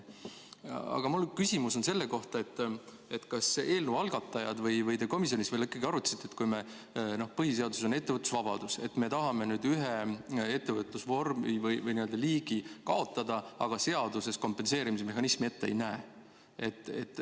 Aga mu küsimus on selle kohta, kas eelnõu algatajad on seda arutanud või olete te komisjonis arutanud, et kui meil põhiseadusega on igaühel ettevõtlusvabadus, aga me tahame nüüd ühe ettevõtlusvormi või -liigi kaotada, kuid samas seaduses me kompenseerimismehhanismi ette ei näe.